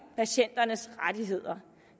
patienternes rettigheder